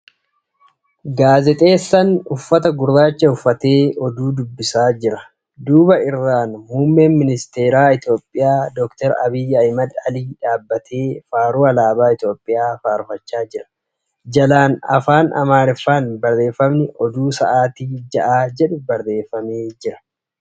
Namichi uffata gurraacha uffatee oduu dubbisaa jira. Duuba irraan muummeen ministara Itiyoophiyaa Dr. Abiyyi Ahmad dhaabbatee faaruu alaabaa Itiyoophiyaa faarfachaa jira. Jalaan afaan Amaariffaan barreeffamni ' Oduu sa'aatii ja'aa ' jedhu barreeffamee jira.